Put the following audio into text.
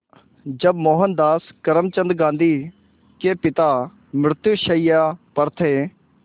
जब मोहनदास करमचंद गांधी के पिता मृत्युशैया पर थे